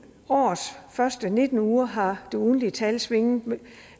årets første nitten uger har det ugentlige tal svinget